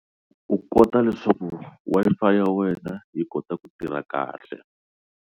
U kota leswaku Wi-Fi ya wena yi kota ku tirha kahle.